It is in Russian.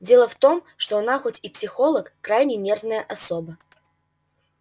дело в том что она хоть и психолог крайне нервная особа